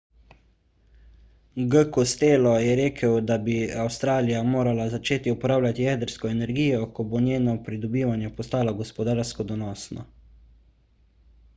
g. costello je rekel da bi avstralija morala začeti uporabljati jedrsko energijo ko bo njeno pridobivanje postalo gospodarsko donosno